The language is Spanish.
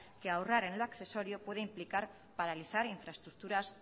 que ahorrar en lo accesorio puede implicar paralizar infraestructuras